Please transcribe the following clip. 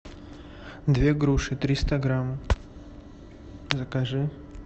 две груши триста грамм закажи